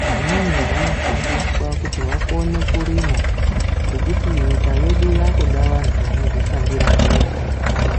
vamweni vanofundiswa kuti vakone kurima ngekuti nyika hedu yakauda vantu vanodzishandira ngenyara dzawo.